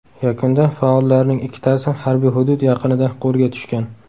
Yakunda faollarning ikkitasi harbiy hudud yaqinida qo‘lga tushgan .